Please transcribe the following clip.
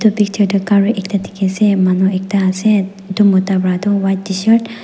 etu picture de cari ekta diki ase manu ekta ase ye etu mota vra tu white tshirt .